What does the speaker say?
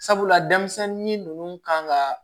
Sabula denmisɛnnin ninnu kan ka